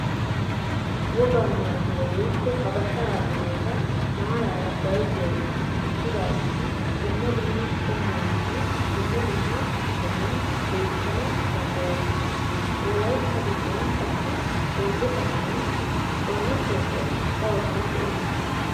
Wogaa maayuwa woykko habashaa maayota maaraara bayzuwawu eqqidaageti dumma dumma qommuwaninne dumma dumma sohuwan beettana danddayoosona. Wolayitta giddon qassi sooddo kataman xoona pooqiyan darosan de'ees.